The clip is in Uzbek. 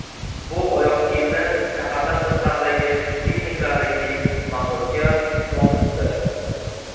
Bu oyoq kiyimni shahardan tashqaridagi pikniklarda kiyish maqsadga muvofiqdir.